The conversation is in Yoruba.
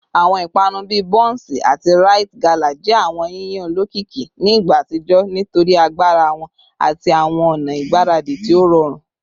Awọn ipanu bii bonsi ati rite gala jẹ awọn yiyan olokiki ni igba atijọ nitori agbara wọn ati awọn ọna igbaradi ti o rọrun